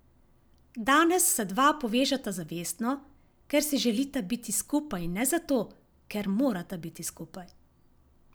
Danes se dva povežeta zavestno, ker si želita biti skupaj in ne zato, ker morata biti skupaj.